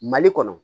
Mali kɔnɔ